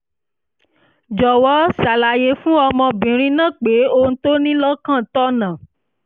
jọ̀wọ́ ṣàlàyé fún ọmọbìnrin náà pé ohun tó o ní lọ́kàn tọ̀nà